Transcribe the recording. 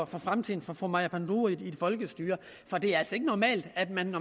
for fremtiden for fru maja panduro i et folkestyre for det er altså ikke normalt at man